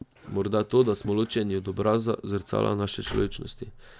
Morda to, da smo ločeni od obraza, zrcala naše človečnosti?